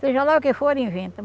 Seja lá o que for, inventa.